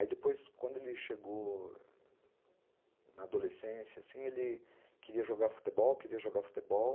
Aí depois, quando ele chegou na adolescência assim, ele queria jogar futebol, queria jogar futebol.